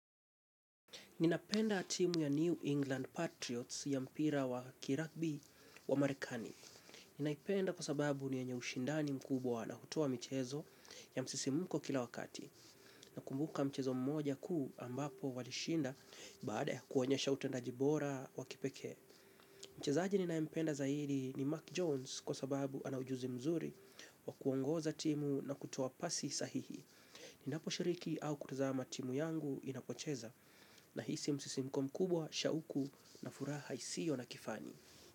Ninapenda timu ya New England Patriots ya mpira wa kiragbi wa marekani. Naipenda kwasababu ni enye ushindani mkubwa na hutoa mchezo ya msisimuko kila wakati. Nakumbuka mchezo mmoja kuu ambapo walishinda baada ya kuonyesha utendajibora wa kipekee. Mchezaji ninayempenda zaidi ni Mark Jones kwasababu anaujuzi mzuri wa kuongoza timu na kutua pasi sahihi. Ninaposhiriki au kutazama timu yangu inapocheza. Nahisi msisimko mkubwa, shauku na furaha isio na kifani.